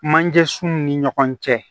Manje sun ni ɲɔgɔn cɛ